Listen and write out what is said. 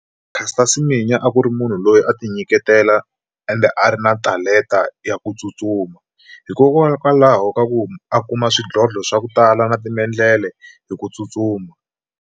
Caster Semenya a ku ri munhu loyi a ti nyiketela ende a ri na talenta ya ku tsutsuma hikokwalaho ka ku a kuma xidlodlo swa ku tala na timendlele hi ku tsutsuma.